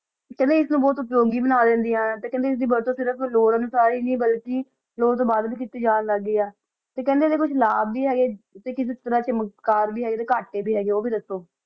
ਕੇਹ੍ਨ੍ਡੇ ਏਸ ਨੂ ਬੋਹਤ ਅਤ੍ਰੰਗੀ ਬਣਾ ਦੇਨ੍ਦਿਯਾਂ ਆਯ ਤੇ ਕੇਹ੍ਨ੍ਡੇ ਏਸ ਦੀ ਵਰਤੁ ਸਿਰਫ ਲੋਰਰ ਅਨੁਸਾਰ ਈ ਅਨ੍ਹੀ ਬਾਲਕੀ ਲੋਰ ਤੋਂ ਬਾਅਦ ਵੀ ਕੀਤੀ ਜਾਂ ਲਾਗ ਗਈ ਆ ਤੇ ਕੇਹ੍ਨ੍ਡੇ ਏਡੇ ਕੁਛ ਲਾਬ ਵੀ ਹੇਗੇ ਤੇ ਕਿਸੀ ਤਰਹ ਦੇ ਮਕਾਰ ਵੀ ਹੇਗੇ ਕਟੇ ਵੀ ਹੇਗੇ ਊ ਦਸੋ